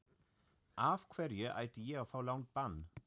Af hverju ætti ég að fá langt bann?